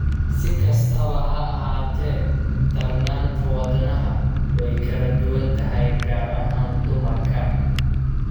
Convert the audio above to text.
Si kastaba ha ahaatee, darnaanta wadnaha wadnaha way kala duwan tahay, gaar ahaan dumarka.